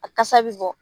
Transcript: A kasa bɛ bɔ